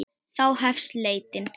Þá hefst leitin.